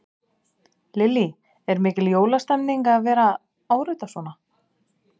Lillý: Er mikil jólastemmning að vera að árita svona?